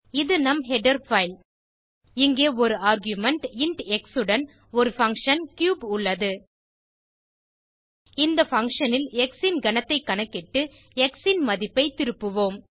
இது நம் header file இங்கே ஒரு ஆர்குமென்ட் இன்ட் எக்ஸ் உடன் ஒரு பங்ஷன் கியூப் உள்ளது இந்த பங்ஷன் ல் எக்ஸ் ன் கனத்தைக் கணக்கிட்டு எக்ஸ் ன் மதிப்பைத் திருப்புவோம்